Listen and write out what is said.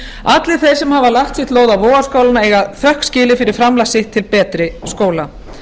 allir þeir sem hafa lagt sitt lóð á vogarskálina eiga þökk skilið fyrir framlag sitt til betri skóla